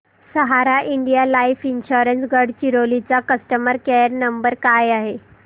सहारा India life insurance Gadchiroli चा customer care number काय आहे